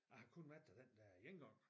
Jeg har kun været der den der ene gang